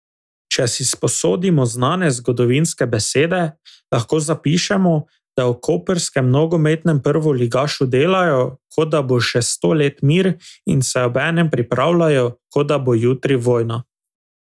Če si sposodimo znane zgodovinske besede, lahko zapišemo, da v koprskem nogometnem prvoligašu delajo, kot da bo še sto let mir, in se obenem pripravljajo, kot da bo jutri vojna.